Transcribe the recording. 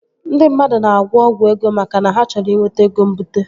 Ndị mmadụ na-agwọ ọgwụ ego maka na ha chọrọ inweta ego mbute